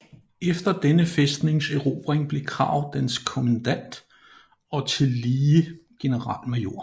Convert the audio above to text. Efter denne fæstnings erobring blev Krag dens kommandant og tillige generalmajor